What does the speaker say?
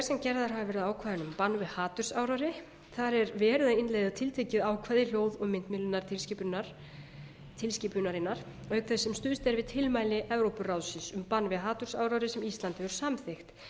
ákvæðinu um bann við hatursáróðri það er verið að innleiða tiltekið ákvæði hljóð og myndmiðlunartilskipunarinnar auk þess sem stuðst er við tilmæli evrópuráðsins um bann við hatursáróðri sem ísland hefur samþykkt